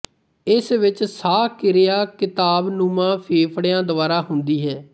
ਇਸ ਵਿੱਚ ਸਾਹ ਕਿਰਿਆ ਕਿਤਾਬਨੁਮਾ ਫੇਫੜਿਆਂ ਦੁਆਰਾ ਹੁੰਦੀ ਹੈ